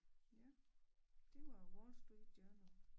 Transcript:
Ja det var Wall Street Journal